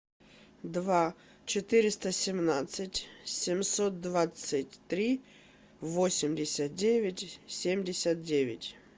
два четыреста семнадцать семьсот двадцать три восемьдесят девять семьдесят девять